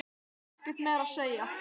Ég hef ekkert meira að segja.